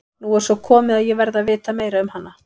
Nú er svo komið að ég verð að vita meira um hana.